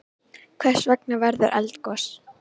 Hvers vegna verður eldgos?